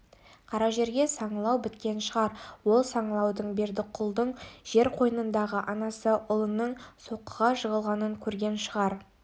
қара жерге саңылау біткен шығар сол саңылаудан бердіқұлдың жер қойнындағы анасы ұлының соққыға жығылғанын көрген шығар